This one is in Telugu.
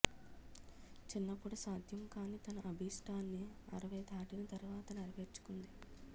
చిన్నప్పుడు సాధ్యం కాని తన అభీష్టాన్ని అరవై దాటిన తరవాత నెరవేర్చుకుంది